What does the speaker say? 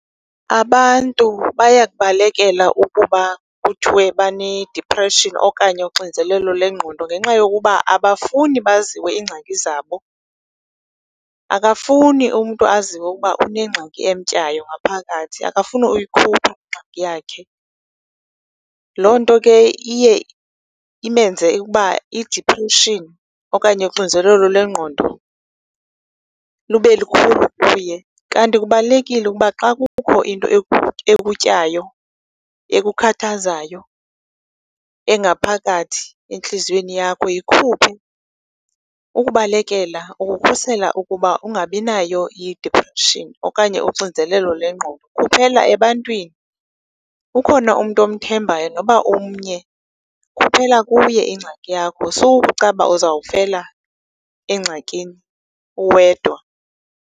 Abantu bayakubalekela ukuba kuthiwe banedipreshini okanye uxinzelelo lengqondo ngenxa yokuba abafuni baziwe iingxaki zabo. Akafuni umntu aziwe ukuba unengxaki emtyayo ngaphakathi, akafuni uyikhupha ingxaki yakhe. Loo nto ke iye imenze ukuba idipreshini okanye unxinzelelo lengqondo lube lukhulu kuye. Kanti kubalulekile ukuba xa kukho into ekutyayo ekukhathazayo engaphakathi entliziyweni yakho yikhuphe, ukubalekela, ukukhusela ukuba ungabinayo idispreshini okanye unxinzelelo lengqondo. Kuphela ebantwani. Ukhona umntu omthembayo noba umnye, khuphela kuye ingxaki yakho sukucaba uzofela engxakini uwedwa.